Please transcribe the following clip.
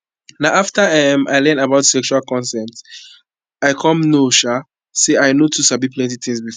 na after um i learn about sexual consent i come know um say i no too know plenty things before